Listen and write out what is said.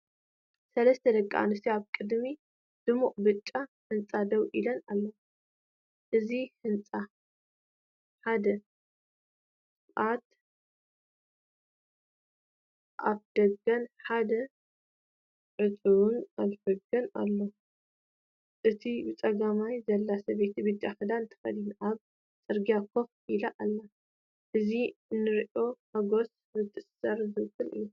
ሰለስተ ደቂ ኣንስትዮ ኣብ ቅድሚ ድሙቕ ብጫ ህንጻ ደው ኢለን ኣለዋ። እዚ ህንጻ ሓደ ክፉት ኣፍደገን ሓደ ዕጹው ኣፍደገን ኣለዎ። እታ ብጸጋም ዘላ ሰበይቲ ብጫ ክዳን ተኸዲና ኣብ ጽርግያ ኮፍ ኢላ ኣላ። እዚ ንራእይ ሓጎስን ምትእስሳርን ዝውክል እዩ።